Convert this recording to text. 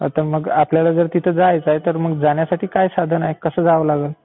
मग आपल्याला तिथे जायचं आहे तर मग जाण्यासाठी काय साधन आहे? कसं जावं लागल?